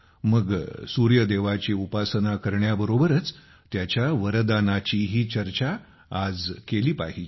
मग सूर्याची उपासना करण्याबरोबरच त्याच्या वरदानाचीही चर्चा आज केली पाहिजे